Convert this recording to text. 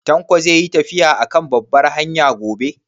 Tanko zai yi tafiya a kan babbar hanya gobe?